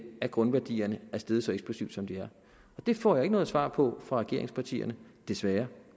at grundværdierne er steget så eksplosivt som de er det får jeg ikke noget svar på fra regeringspartierne desværre